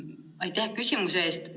Aitäh küsimuse eest!